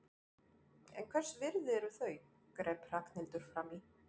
En hvers virði eru þau? greip Ragnhildur fram í.